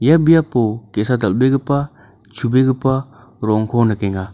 ia biapo ge·sa dal·begipa chu·begipa ro·ongko nikenga.